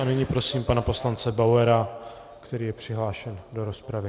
A nyní prosím pana poslance Bauera, který je přihlášen do rozpravy.